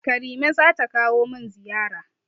Karime zata kawo min ziyara.